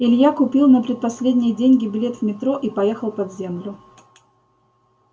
илья купил на предпоследние деньги билет в метро и поехал под землю